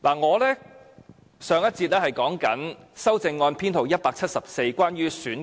我珍惜時間，繼續就修正案編號174發言。